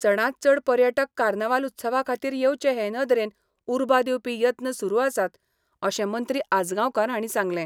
चडांतचड पर्यटक कार्नावाल उत्सवा खातीर येवचे हे नदरेन उर्बा दिवपी यत्न सुरू आसात अशें मंत्री आजगांवकार हांणी सांगलें.